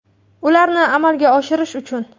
Ularni amalga oshirish uchun.